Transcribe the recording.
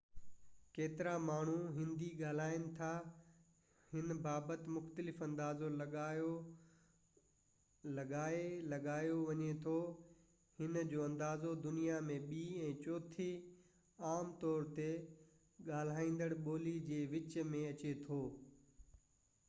ڪيترا ماڻهو هندي ڳالهائين ٿا هن بابت مختلف اندازو لڳائي لڳايو وڃي ٿو هن جي اندازو دنيا ۾ ٻي ۽ چوٿين عام طور تي ڳالهائيندڙ ٻولي جي وچ ۾ اچي ٿو